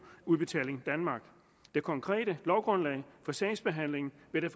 udbetaling danmark det konkrete lovgrundlag for sagsbehandlingen vil